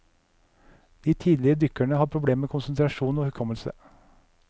De tidligere dykkerne har problemer med konsentrasjon og hukommelse.